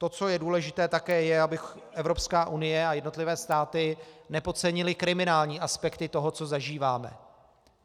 To, co je důležité, také je, aby Evropská unie a jednotlivé státy nepodcenily kriminální aspekty toho, co zažíváme.